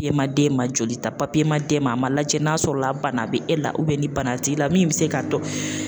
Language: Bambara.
E ma d'e ma joli ta papiye ma d'e ma a ma lajɛ n'a sɔrɔla bana bi e la ubiyɛn ni bana t'i la min be se k'a dɔn